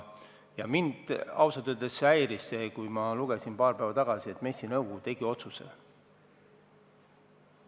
Mind ausalt öeldes häiris, kui ma lugesin paar päeva tagasi, et MES-i nõukogu tegi otsuse.